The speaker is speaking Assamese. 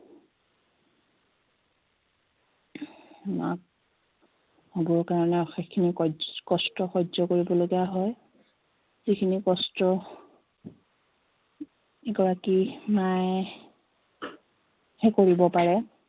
মাক হবৰ কাৰণে অশেষ খিনি কইজ কস্টৰ সহ্য় কৰিব লগীয়া হয় যিখিনি কস্ট এগৰাকী মায়ে হে কৰিব পাৰে